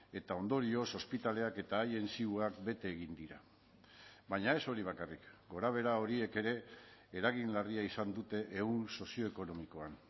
eta ondorioz ospitaleak eta haien zioak bete egin dira baina ez hori bakarrik gorabehera horiek ere eragin larria izan dute ehun sozioekonomikoan